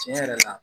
Tiɲɛ yɛrɛ la